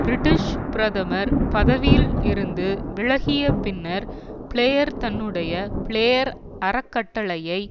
British பிரமதர் பதவியில் இருந்து விலகிய பின்னர் பிளேயர் தன்னுடைய பிளேயர் அறக்கட்டளையை